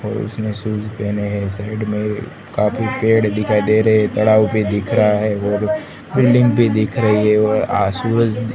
और उसने शूज पेहने है साइड में ये काफी पेड़ दिखाई दे रे भी दिख रा है और बिल्डिंग भी दिख री है और आ सूरज दि--